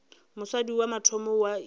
mosadi wa mathomo wa inama